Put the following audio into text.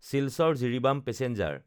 Silchar-Jiribam passenger